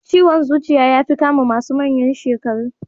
Ciwon zuciya yafi kama masu manyan shekaru.